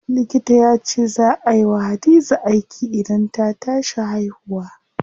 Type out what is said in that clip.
Likita yace zaa ay wa Hadiza aiki idan ta tashi haihuwa.